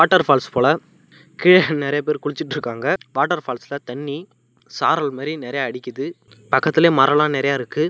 Water falls போல கீழ நறைய பேர் குளிச்சிட்டு இருக்காங்க வாட்டர் ஃபால்ஸ்ல தண்ணி சாரல் மாதிரி நறைய அடிக்குது பக்கத்திலேயே மரல்லாம் நறைய இருக்குது.